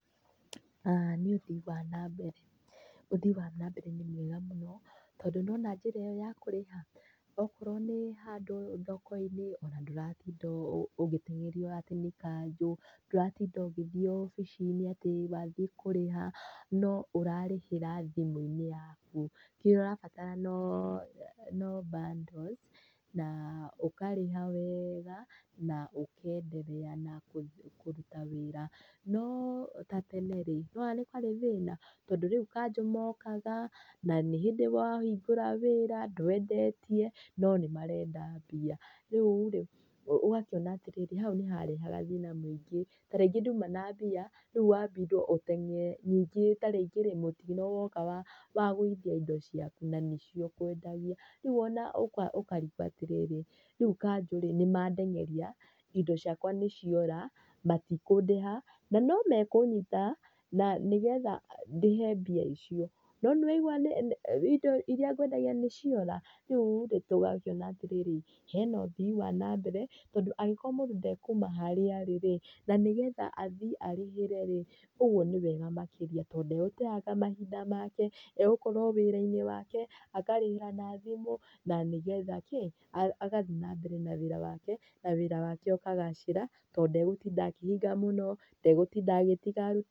Nĩ ũthii wa na mbere, ũthii wa na mbere nĩ mwega mũno, tondũ nĩwona njĩra ĩyo ya kũrĩha, okorwo nĩ handũ thoko-inĩ, ona ndũratinda ũgĩtengerio atĩ nĩ kanjũ, ndũratinda ũgĩthiĩ obici-inĩ atĩ wathiĩ ũrĩha, no ũrarĩhĩra thimũ-inĩ yaku. Kĩrĩa ũrabatara no, no bundles, na ũkarĩha weega, na ũkendelea na kũruta wĩra, no ta tene-rĩ, nĩwona nĩ kwarĩ thĩna, tondũ rĩu kanjũ mokaga, na nĩ hĩndĩ wahingũra wĩra, ndwendetie no nĩmarenda mbia. Rĩu-rĩ ũgakĩona atĩrĩrĩ, hau nĩharehaga thĩna mũingĩ. Tarĩngĩ nduma na mbia, rĩu wambindwo ũtengere. Ningĩ tarĩngĩ-rĩ mũtino woka wagũithia indo ciaku, na nĩcio ũkwendagia, rĩu ona ũkarigwo atĩrĩrĩ, rĩu kanjũ-rĩ nĩmandengeria, indo ciakwa nĩciora, matikũndĩha, na nomekũnyita, na nĩgetha ndĩhe mbia icio, no nĩwaigua nĩ indo iria ngwendagia nĩciora, rĩu-rĩ tũgakĩona atĩrĩrĩ, hena ũthii wanambere, tondũ angĩkorwo mũndũ ndekuma harĩa arĩ-rĩ, na nĩgetha athiĩ arĩhĩre-rĩ, ũguo nĩwega makĩria tondũ ndegũteanga mahinda make, egũkorwo o wĩra-inĩ wake, akarĩhĩra na thimũ na nĩgetha kĩ, agathiĩ nambere na wĩra wake, na wĩra wake ũkagacĩra tondũ ndegũtinda akĩhinga mũno, ndegũtinda agĩtiga aruti